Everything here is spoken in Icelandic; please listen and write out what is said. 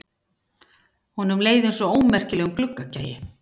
Honum leið einsog ómerkilegum gluggagægi.